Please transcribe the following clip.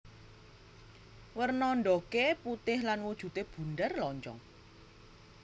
Werna ndhoge putih lan wujude bunder lonjong